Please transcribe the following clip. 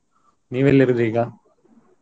ನೀವ್ ಎಲ್ಲಿ ಇರುದು ಈಗ?